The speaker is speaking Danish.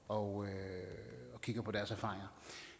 og kigger på deres erfaringer